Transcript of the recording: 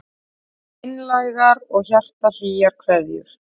Einlægar og hjartahlýjar kveðjur